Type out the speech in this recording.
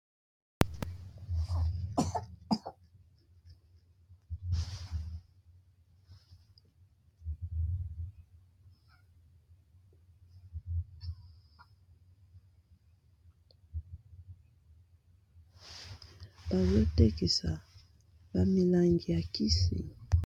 Bazo tekisa ba milangi ya kisi .